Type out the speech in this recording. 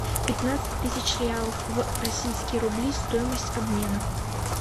пятнадцать тысяч реалов в российские рубли стоимость обмена